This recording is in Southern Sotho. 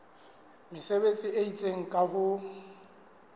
mesebetsi e itseng ka ho